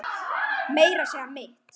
Meira að segja mitt